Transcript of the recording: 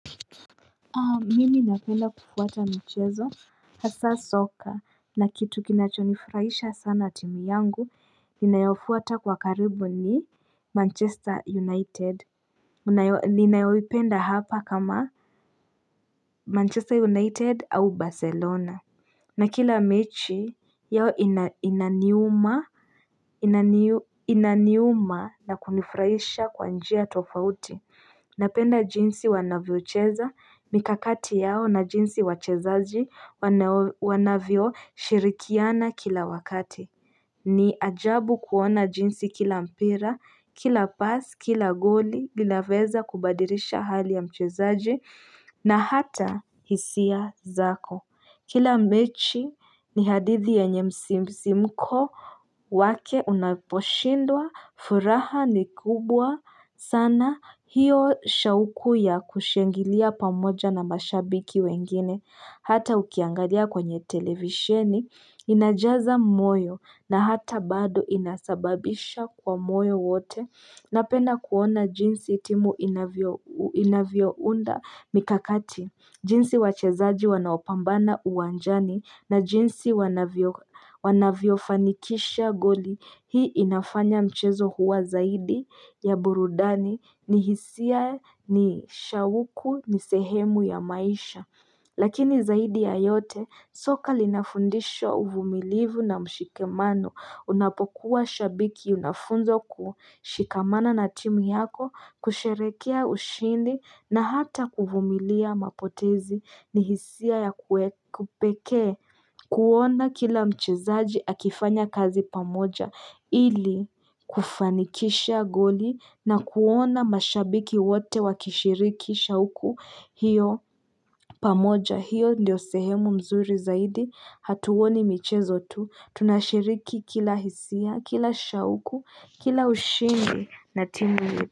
Mimi napenda kufuata michezo hasa soka na kitu kinachonifurahisha sana timu yangu ninayofuata kwa karibu ni manchester united ninayoipenda hapa kama manchester united au barcelona na kila mechi yao ina inaniuma na kunifraisha kwa njia tofauti. Napenda jinsi wanavyocheza mikakati yao na jinsi wachezaji wanavyo shirikiana kila wakati. Ni ajabu kuona jinsi kila mpira, kila pasi, kila goli, linaweza kubadirisha hali ya mchezaji na hata hisia zako. Kila mechi ni hadithi yenye msisimko wake unaposhindwa, furaha ni kubwa, sana hiyo shauku ya kushangilia pamoja na mashabiki wengine, hata ukiangalia kwenye televisheni, inajaza moyo na hata bado inasababisha kwa moyo wote. Napedna kuona jinsi timu inavyounda mikakati, jinsi wachezaji wanaopambana uwanjani na jinsi wanavyo fanikisha goli. Hii inafanya mchezo huwa zaidi ya burudani ni hisia ni shauku ni sehemu ya maisha. Lakini zaidi ya yote soka linafundisho uvumilivu na mshikamano unapokuwa shabiki unafunzo kushikamana na timu yako kusherehekea ushindi na hata kuvumilia mapotezi ni hisia ya kipekee kuona kila mchezaji akifanya kazi pamoja ili kufanikisha goli na kuona mashabiki wote wakishirikisha huku hiyo pamoja. Hiyo ndiyo sehemu mzuri zaidi hatuoni michezo tu tunashiriki kila hisia kila shauku kila ushindi na timu.